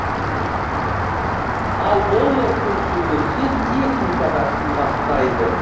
ал доллар курсы өссе техника да қымбаттайды